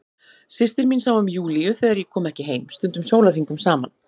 Systir mín sá um Júlíu þegar ég kom ekki heim, stundum sólarhringum saman.